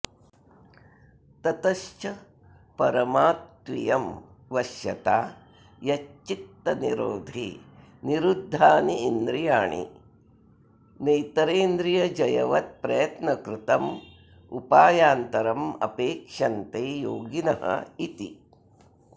ततश्च परमा त्वियं वश्यता यच्चित्तनिरोधे निरुद्धानीन्द्रियाणि नेतरेन्द्रियजयवत्प्रयत्नकृतमुपायान्तरमपेक्षन्ते योगिन इति